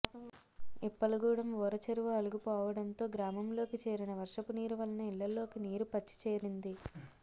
ఇప్పల గూడెం ఊర చెరువు అలుగు పోవడంతో గ్రామంలోకి చేరిన వర్షపునీరు వలన ఇళ్లలోకి నీరు పచ్చి చేరింది